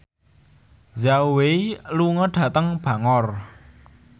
Zhao Wei lunga dhateng Bangor